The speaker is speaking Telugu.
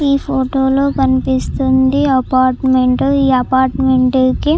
ఈ ఫోటో లో కనిపిస్తుంది అపార్ట్మెంట్ . ఈ అపార్ట్మెంట్ కి --